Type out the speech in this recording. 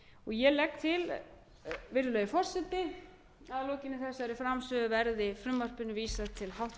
ég legg til virðulegi forseti að að lokinni þessari framsögu verði frumvarpinu vísað til